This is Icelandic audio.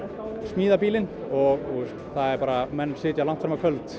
smíða bílinn og menn sitja langt fram á kvöld